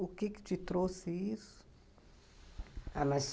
O que te trouxe isso? A mais,